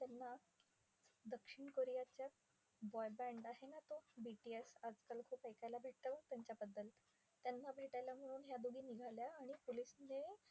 दक्षिण कोरियाच्या boy band आहे ना तो BTS आजकाल खूप ऐकायला भेटतं बघ त्यांच्याबद्दल. त्यांना भेटायला म्हणून ह्या दोघी निघाल्या आणि पोलिसने